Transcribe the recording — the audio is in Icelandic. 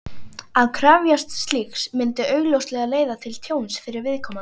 Að krefjast slíks myndi augljóslega leiða til tjóns fyrir viðkomandi.